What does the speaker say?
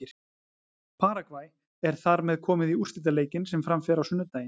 Paragvæ er þar með komið í úrslitaleikinn sem fram fer á sunnudaginn.